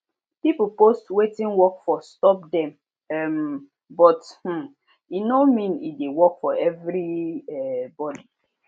people post wetin work for stop them um but um e no mean e de work for every um body